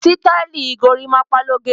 Sítáìlì gorímápá ló gẹ̀.